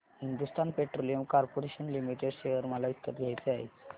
Hindustan petroleum corporation limited share मला विकत घ्यायचे आहेत